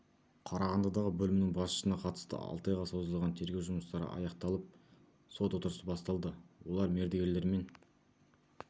қарағандыдағы бөлімінің басшысына қатысты алты айға созылған тергеу жұмыстары аяқталып сот отырысы басталды олар мердігерлерден